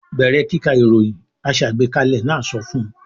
"Bẹ̀rẹ̀ kíka ìròyìn!" Aṣàgbékalẹ̀ náà sọ fún un.